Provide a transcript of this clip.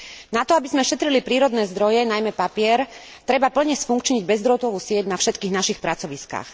Na to, aby sme šetrili prírodné zdroje, najmä papier, treba plne sfunkčniť bezdrôtovú sieť na všetkých našich pracoviskách.